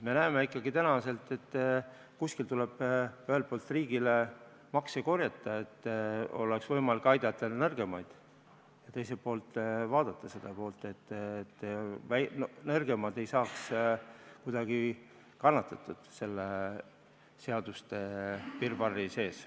Me näeme ikkagi, et kuskil tuleb ühelt poolt riigile makse korjata, et oleks võimalik aidata nõrgemaid, ja teiselt poolt tuleb vaadata seda, et nõrgemad ei saaks kuidagi kannatada selle seaduste virvarri sees.